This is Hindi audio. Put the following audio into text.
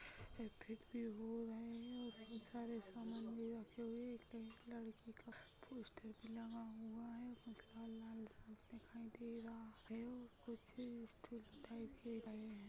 हो रहे है और कई सारे सामान भी रखे हुवे है एक लड़की का पोस्टर भी लगा हुवा है कुछ लाल-लाल सा भी दिखाई दे रहा है और कुछ